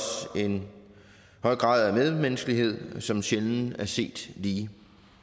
en høj grad af medmenneskelighed som sjældent er set lige